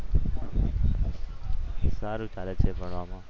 સારું ચાલે છે ભણવામાં.